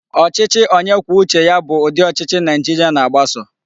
Ochichi onye kwuo uche ya bu udi Ochichi Naijiria na-agbaso